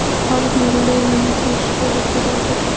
Árni er í liðinu til að skora fyrir okkur.